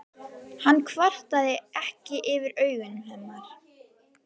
Hann kvartaði ekki yfir augum hennar.